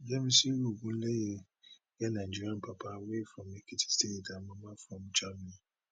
yemisi ogunleye get nigerian papa wey from ekiti state and mama from germany